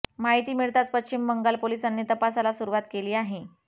महिती मिळताच पश्चिम बंगाल पोलिसांनी तपासाला सुरूवात केली आहे